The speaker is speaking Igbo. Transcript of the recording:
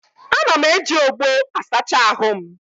Ana m eji ogbó asacha ahụ m.